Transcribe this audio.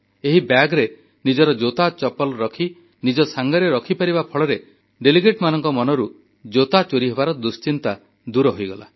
ଏହି ବ୍ୟାଗରେ ନିଜର ଜୋତାଚପଲ ରଖି ନିଜ ସାଙ୍ଗରେ ରଖିପାରିବା ଫଳରେ ସେମାନଙ୍କ ମନରୁ ଜୋତା ଚୋରି ହେବାର ଦୁଶ୍ଚିନ୍ତା ଦୂର ହୋଇଗଲା